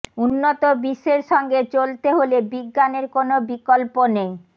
উন্নত বিশ্বের সঙ্গে চলতে হলে বিজ্ঞানের কোনো বিকল্প নেই